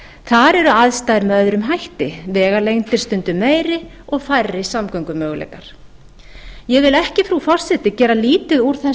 þar eru aðstæður með öðrum hætti vegalengdir stundum meiri og færri samgöngumöguleikar ég vil ekki frú forseti gera lítið úr